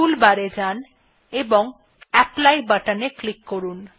টুল বার এ যান এবং অ্যাপলি বাটনে ক্লিক করুন